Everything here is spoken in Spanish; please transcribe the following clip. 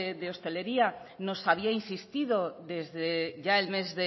de hostelería nos había insistido ya desde el mes